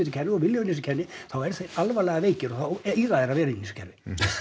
kerfi og vilja vera í þessu kerfi þá eru þeir alvarlega veikir og þá eiga þeir að vera inni í þessu kerfi